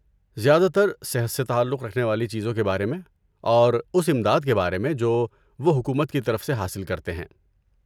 زیادہ تر صحت سے تعلق رکھنے والی چیزوں کے بارے میں اور اس امداد کے بارے میں جو وہ حکومت کی طرف سے حاصل کرتے ہیں۔